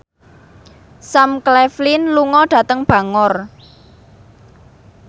Sam Claflin lunga dhateng Bangor